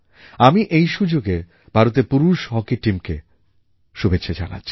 আমি এই সুযোগে ভারতের পুরুষ হকি টিমকে শুভেচ্ছা জানাচ্ছি